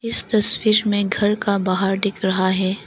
इस तस्वीर में घर का बाहार दिख रहा है।